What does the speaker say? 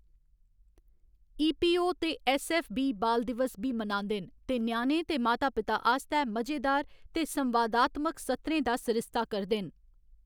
ई. P. O ते S F. बी बाल दिवस बी मनांदे न ते ञ्याणें ते माता पिता आस्तै मजेदार ते संवादात्मक सत्रें दा सरिस्ता करदे न।